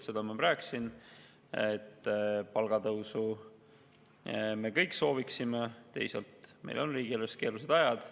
Seda ma rääkisin, et loomulikult me palgatõusu kõik sooviksime, teisalt on meil riigieelarves keerulised ajad.